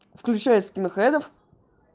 включай скинхедов